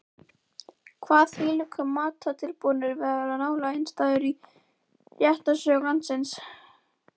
Kvað þvílíkur málatilbúnaður vera nálega einstæður í réttarsögu landsins.